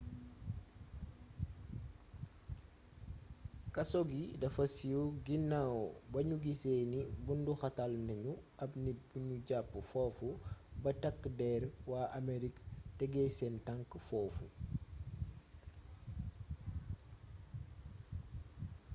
kaso gi dafa siiw ginaaw ba nu gisee ni bunduxatal nanu ab nit bu nu jàpp foofu ba takk der waa amerig tegee seen tank foofu